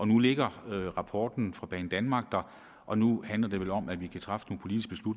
nu ligger rapporten fra banedanmark der og nu handler det vel om at træffe